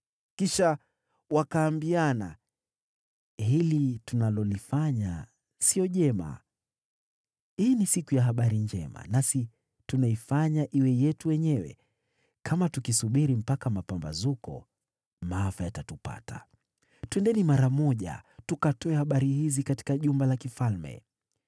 Kisha wakaambiana, “Hili tunalolifanya sio jema. Hii ni siku ya habari njema, nasi tunakaa kimya. Kama tukisubiri mpaka mapambazuko, maafa yatatupata. Twendeni mara moja tukatoe habari hizi katika jumba la mfalme.”